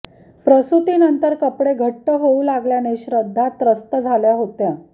प्रसूतीनंतर कपडे घट्ट होऊ लागल्याने श्रद्धा त्रस्त झाल्या होत्या